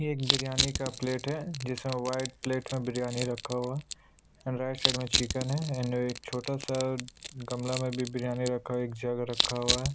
ये एक बिरयानी का प्लेट है जैसा वाइट प्लेट में बिरयानी रखा हुआ है एंड राइट साइड मे चिकेन है एंड एक छोटा सा गमला में भी बिरयानी रखा हुआ है एक जग रखा हुआ है।